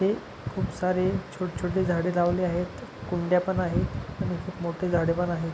तिथे खूप सारे छोट छोटे झाड लावले आहेत कुंड्या पण आहे आणि खूप मोठी झाड पण आहे.